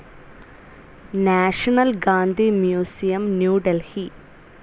national Gandhi museum, new Delhi